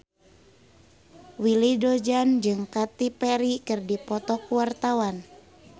Willy Dozan jeung Katy Perry keur dipoto ku wartawan